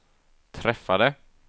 träffade